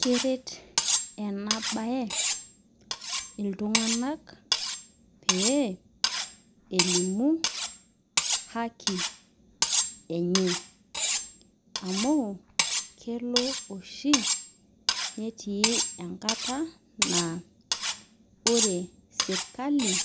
Keret enabae ltunganak pee elimu haki enye amu kelo oshi netiu enkata na ore serkali